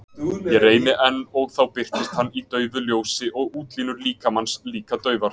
Ég reyni enn og þá birtist hann í daufu ljósi og útlínur líkamans líka daufar.